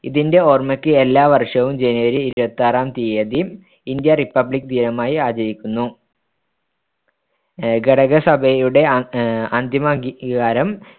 ഇതിന്റെ ഓർമ്മക്ക് എല്ലാ വർഷവും ജനുവരി ഇരുപത്തിയാറാം തീയതി ഇന്ത്യ republic ദിനമായി ആചരിക്കുന്നു അഹ് ഘടകസഭയുടെ അ അഹ് അന്തിമ അംഗീകാരം